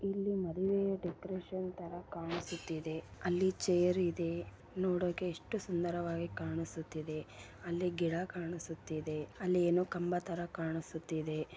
ಇಲ್ಲಿ ಮದುವೆಯ ಡೆಕೊರೇಶನ್ ತರ ಕಾಣಿಸುತ್ತಿದೆ ಅಲ್ಲಿ ಚೇರ್ ಇದೆ ನೋಡೋಕೆ ಎಷ್ಟು ಸುಂದರವಾಗಿ ಕಾಣಿಸುತ್ತಿದೆ ಅಲ್ಲಿ ಗಿಡ ಕಾಣಿಸುತ್ತಿದೆ ಅಲ್ಲಿ ಏನೋ ಕಂಬ ತರ ಕಾಣಿಸುತ್ತಿದೆ.